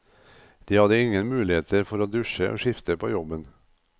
De hadde ingen muligheter for å dusje og skifte på jobben.